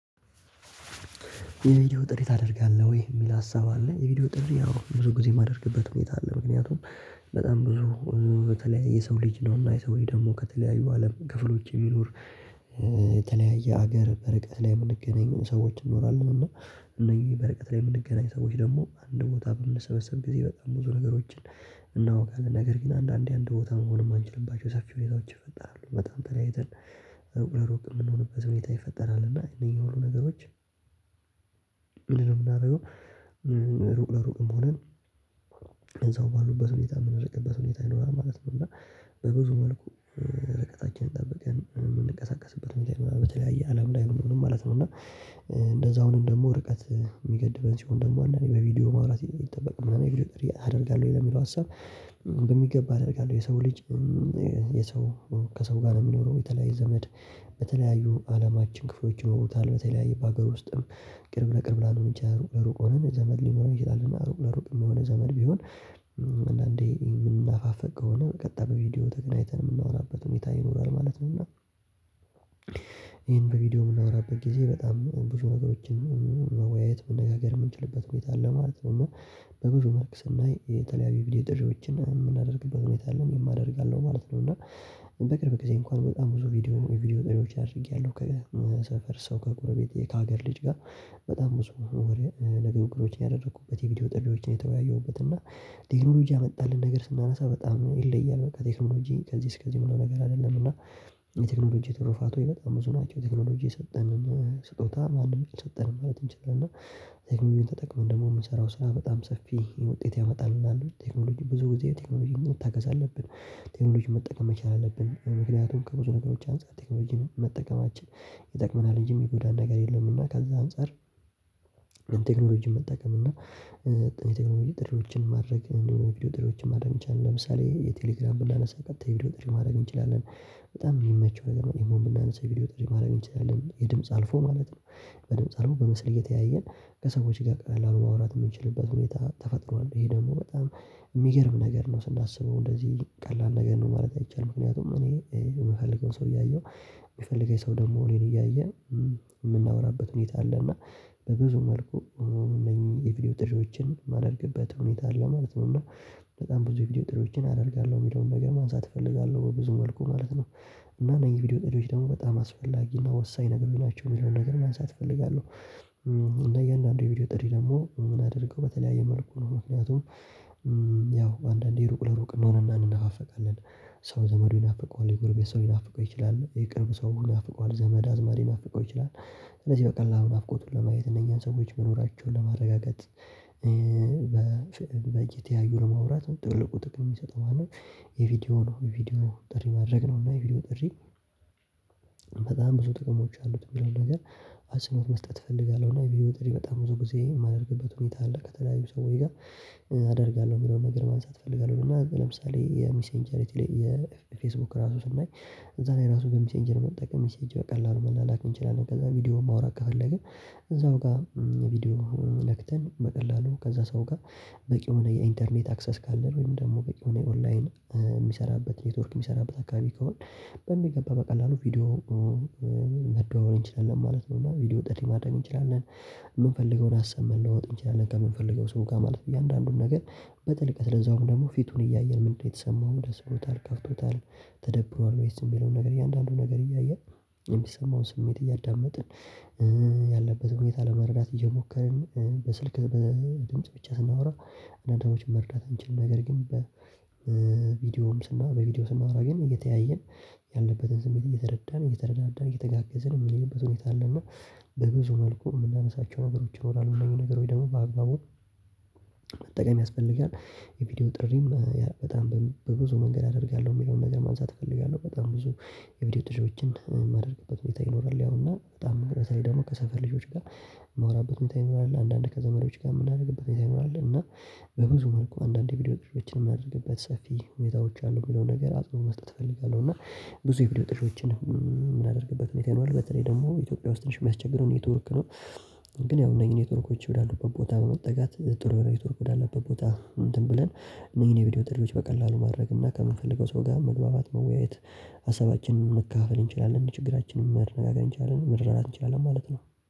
የቪዲዮ ጥሪ ታደርጋለህ ወይ የሚል ሀሳብ አለ? የቪዲዮ ጥሪ አዎ ብዙ ጊዜ የማደርግበት ሁኔታ አለ። ምክንያቱም በጣም ብዙ በተለይ የሰው ልጅ ነው እና የሰው ልጅ ደግሞ ከተለያዩ አለም ክፍሎች የምኖር የተለያየ ሀገር በረቀት ላይ የምንገናኝ ሰዎች እንኖራለን። እና እነኝ በርቀት ላይ የምንገናኝ ሰዎች ደግሞ አንድ ቦታ በምንሰበሰብ ጊዜ በጣም ብዙ ነገሮችን እናውቃለን ነገር ግን አንዳንዴ አንድ ቦታ መሆኑን የማንችልባቸው ሰፊ ሁኔታዎች ይፈጠራሉ። በጣም ተለያይተን ሩቅ ለሩቅ የምንሆንበት ሁኔታ ይፈጠራል። እና እነኚህ ሁሉ ነገሮች ምንድነው የምናደርገው? ሩቅ ለሩቅም ሆነን እዛው ባሉበት ሁኔታ የምንረቅበት ሁኔታ ይኖራል ማለት ነው። እና በብዙ መልኩ ረቀታችንን ጠብቀን የምንቀሳቀስበት ሁኔታ ይኖራል። በተለያየ አለም ላይ ምንም ማለት ነው። እና እንደዛው አሁን ደግሞ ርቀት የሚገድበን ሲሆን ደግሞ እኔ አንዳንዴ በቪዲዮ ማውራት ይጠበቅብናል ምናምን የቪድዮ ጥር አደርጋለሁ ወይ ለሚለው ሀሳብ በሚገባ አደርጋለሁ የሰው ልጅ የሰው ከሰው ጋር ነው። የሚኖረው የተለያየ ዘመድ በተለያዩ አለማችን ክፍሎች ይለውታል በተለያየ በአገር ውስጥም ቅርብ ለቅርብ ላንተ ሩቅ ለሩቅ ሆነን ዘመድ ሊኖር ይችላልና ሩቅ ለሩቅ የሚሆነ ዘመድ ቢሆን አንዳንዴ የምናፋፍቅ ከሆነ ቀጣይ በቪዲዮ ተገናኝተን የምናወራበት ሁኔታ ይኖራል ማለት ነውና። በቪዲዮ የምናወራበት ጊዜ በጣም ብዙ ነገሮችን መወያየት መነጋገር የምንችልበት መንገድ አለ ማለት ነው። እና በብዙ መልክ ስናይ የተለያየ ቪዲዮ ድርጅቶችን የምናደርግበት ሁኔታ አለን የማደርግ አለው ማለት ነው። እና በቅርብ ጊዜ እንኳን በጣም ብዙ ቪዲዮ የቪዲዮ ጠቢያዎች አድርጌያለሁ። ከሰፈር ሰው ከጎርቤቴ ከሀገር ልጅ ጋር በጣም ብዙ ወሬ ነገሮችን እግሮችን ያደረኩበት የቪዲዮ ጥሪዎችን የተወያየሁበት እና ቴክኖሎጂ ያመጣልን ነገር ስናነሳ በጣም ይለያል በቴክኖሎጂ ከዚህ እስከዚህ በኋላ ነገር አይደለም። እና የቴክኖሎጂ ትርፋት ወይ በጣም ብዙ ናቸው የቴክኖሎጂ የሰጠንን ስጦታ ማንም ሰጠን ማለት እንችላለን። ተጠቅመን ደግሞ የምሰራው ስራ በጣም ሰፊ ውጤት ያመጣልናል ቴክኖሎጂ ብዙ ጊዜ ቴክኖሎጂ መታገስ አለብን። ቴክኖሎጂን መጠቀም መቻል አለብን ምክንያቱም ከብዙ ነገሮች አንፃር ቴክኖሎጂን መጠቀማችን ይጠቅመናል እንጂ የሚጎዳ ነገር የለምና። ከዛ አንፃር ምን ቴክኖሎጂ የምጠቀም እና የቴክኖሎጂ ጥሪዎችን ማድረግ እንዲሁም የቪዲዮ ጥሪዎችን ማድረግ የሚቻል ለምሳሌ የቴሌግራም ብላነሳ ቀጥታ ቪዲዮ ጥሪ ማድረግ እንችላለን። በጣም የሚመቸው ነገር እኔ እኔ የምናነሳ ቪዲዮ ጥሪ ማድረግ ይችላል የድምጽ አልፎ ማለት ነው። በድምጽ አልፎ በመስል እየተያየን ከሰዎች ጋር ቀላል ማውራት የምንችልበት ሁኔታ ተፈጥሯል ይሄ ደግሞ በጣም የሚገርም ነገር ነው። ስናስበው እንደዚህ ቀላል ነገር ነው ማለት አይቻልም። ምክንያቱም እኔ የምፈልገውን ሰው እያየሁ የሚፈልገኝ ሰው ደግሞ ሊን እያየን የምናወራበት ሁኔታ አለ። እና በብዙ መልኩ እነኚህ የቪዲዮ ጥሪዎችን የማደርግበት ሁኔታ አለ ማለት ነው። በጣም ብዙ የቪዲዮ ጥሪዎችን አደርጋለሁ የሚለውን ነገር ማንሳት እፈልጋለሁ ብዙ መልኩ ማለት ነው። እና እኔ ቪዲዮ ጥሪዎች ደግሞ በጣም አስፈላጊ እና ወሳኝ ነግሮኛቸው የሚለውን ነገር ማንሳት እፈልጋለሁ። እና የእያንዳንዱ የቪዲዮ ጥሪ ደግሞ ምን አድርገው በተለያየ መልኩ ነው ምክንያቱም ያው አንዳንዴ ሩቅ ለሩቅ እንሆንና እንነፋፈቃለን። ሰው ዘመዱ ይናፍቀዋል የጎረቤት ሰው ይናፍቀው ይችላል የቅርብ ሰው ሙሉ ይናፍቀዋል ዘመድ አዝማድ ይናፍቀው ይችላል። ስለዚህ በቃ ለአሁን ናፍቆቱን ለማየት እነኚህን ሰዎች መኖራቸውን ለማረጋገጥ እየተያዩ ለመውራት ትልቁ ጥቅም የሚሰጠው ማለት የቪዲዮ ነው። ቪዲዮ ጥሪ ማድረግ ነው እና የቪዲዮ ጥሪ በጣም ብዙ ጥቅሞች አሉት። የሚለውን ነገር አጽንኦት መስጠት እፈልጋለሁ። እና ቪዲኦ ጥሪ በጣም ብዙ ጊዜ የማደርግበት ሁኔታ አለ። ከተለያዩ ሰውዬ ጋር አደርጋለሁ የሚለውን ነገር ማንሳት እፈልጋለሁ እና ለምሳሌ የሚሴንቸሪቲ የፌስቡክ ራሱ ስናይ እዛ ላይ ራሱ ገምቼ እንጀር መጠቀም ሴት ቀላል መላላክ እንችላለን። ከዛ ቪዲዮ ማውራት ከፈለግን እዛው ጋር ቪዲዮ ለክተን በቀላሉ ከዛ ሰው ጋር በቂ የሆነ የኢንተርኔት አክሰስ ካለን ወይም ደግሞ በቂ የሆነ ኦንላይን የሚሰራበት ኔትወርክ የሚሰራበት አካባቢ ከሆነ በሚገባ በቀላሉ ቪዲዮ መደዋወር እንችላለን ማለት ነው። እና ቪዲዮ ወጥተን ማድረግ እንችላለን። የምንፈልገውን ሀሳብ መለወጥ እንችላለን ከምንፈልገው ሰው ጋር ማለት እያንዳንዱን ነገር በጥልቀት ለዛውም ደግሞ ፊቱን እያየን ምንድነው የተሰማውም ደስ ብሎታል ከፍቶታል። ተደብሯል ወይስ የሚለውን ነገር እያንዳንዱን ነገር እያየን የሚሰማውን ስሜት እያዳመጥን በተለያዩ አለማችን ክፍሎች ይለውታል በተለያየ በአገር ውስጥም ቅርብ ለቅርብ ላንተ ሩቅ ለሩቅ ሆነን ዘመድ ሊኖር ይችላልና። ሩቅ ለሩቅ የሚሆነ ዘመድ ቢሆን አንዳንዴ የምናፋፍቅ ከሆነ ቀጣይ በቪዲዮ ተገናኝተን የምናወራበት ሁኔታ ይኖራል። ማለት ነውና በቪዲዮ የምናወራበት ጊዜ በጣም ብዙ ነገሮችን መወያየት መነጋገር የምንችልበት መንገድ አለ ማለት ነው። እና በብዙ መልክ ስናይ የተለያየ ቪዲዮ ድርጅቶችን የምናደርግበት ሁኔታ አለን የማደርግ አለው ማለት ነው። እና መጠቀም ያስፈልጋል። የቪዲዮ ጥሪም በጣም በብዙ መንገድ አደርጋለሁ ሚለውን ነገር ማንሳት እፈልጋለሁ በጣም ብዙ የቪዲዮ ጥርዎቶችን የማደርግበት ሁኔታ ይኖራል። ያው እና በጣም በተለይ ደግሞ ከሰፈር ልጆች ጋር ማወራበት ሁኔታ ይኖራል። አንዳንድ ከዘመዶች ጋም የምናደርግበት ሁኔታ ይኖራል። እና በብዙ መልኩ አንዳንድ ቪዲዮ ጥሪዎችን የማደርግበት ሰፊ ሁኔዎች አሉ የሚለው ነገር አጽኖ መስጠት እፈልጋለሁ። እና ብዙ የቪዲዮ ጥሪዎችን የምናደርግበት ሁኔታ ይኖራል። በተለይ ደግሞ ኢትዮጵያ ውስጥ ትንሽ የሚያስቸግርው ኔትወርክ ነው። ግን ያው እነዚህ ኔትወርኮች ወደ አሉበት ቦታ በመጠጋት ጥሩ የሆነ ኔትወርክ ወደ አለበት ቦታ እንትን ብለን እነዚህን የቪዲዮ ጥሪዎች በቀላሉ ማድረግ እና ከምንፈልገው ሰው ጋር መግባባት መወያየት ሀሳባችንን መካፈል እንችላለን። ችግራችንን መነጋገር እንችላለን መረዳዳት እንችላለን ማለት ነው